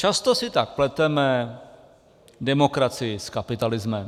Často si tak pleteme demokracii s kapitalismem.